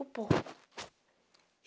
O porco.